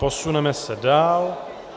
Posuneme se dál.